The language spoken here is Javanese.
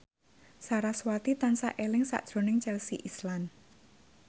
sarasvati tansah eling sakjroning Chelsea Islan